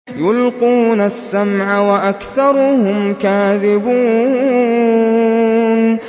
يُلْقُونَ السَّمْعَ وَأَكْثَرُهُمْ كَاذِبُونَ